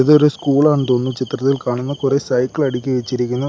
ഇതൊരു സ്കൂളാന്ന് തോന്നുന്നു ചിത്രത്തിൽ കാണുന്നെ കൊറേ സൈക്കിൾ അടുക്കി വച്ചിരിക്കുന്നു.